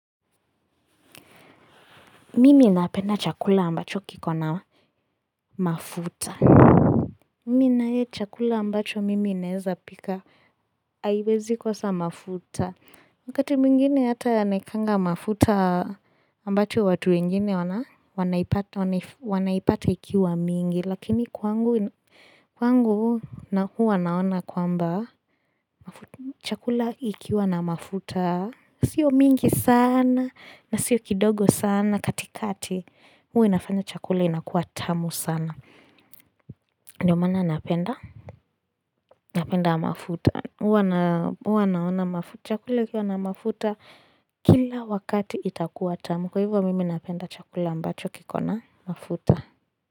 Mimi napenda chakula ambacho kiko na mafuta. Mimi na ye chakula ambacho mimi naeza pika. Haiwezi kosa mafuta. Wakati mwingine hata nawekanga mafuta ambacho watu wengine wanaipata ikiwa mingi. Lakini kwangu na huwa naona kwamba chakula ikiwa na mafuta. Sio mingi saana na sio kidogo saana katikati. Huwa inafanya chakula inakuwa tamu sana, ndio maana napenda napenda mafuta Huwa naona mafuta Chakula ikiwa na mafuta Kila wakati itakuwa tamu Kwa hivyo mimi napenda chakula ambacho kikona mafuta.